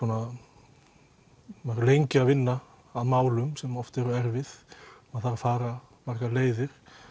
verið lengi að vinna á málum sem oft eru erfið það þarf að fara margar leiðir